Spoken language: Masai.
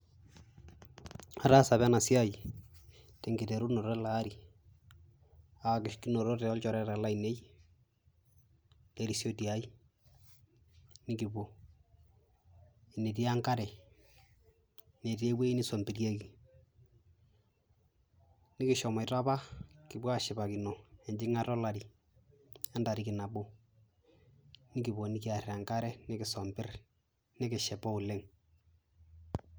Ataasa apa ena siai tenkiterunoto ele ari kinotote olchoreta lainei erisioti ai, nekipuo eneti enkare netii ewoi niswambilieki, nekishomoita apa kipuo ashipakino enjing'ata olari entariki nabo, nekipuo nekiar enkare nekisuambir nekishipa oleng'.